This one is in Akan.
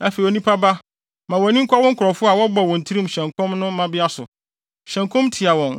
“Afei onipa ba, ma wʼani nkɔ wo nkurɔfo a wɔbɔ wɔn tirim hyɛ nkɔm no mmabea so. Hyɛ nkɔm tia wɔn